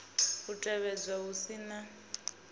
u tevhedzwa hu si na